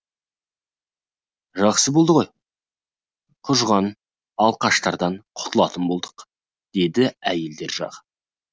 жақсы болды ғой құжынаған алқаштардан құтылатын болдық деді әйелдер жағы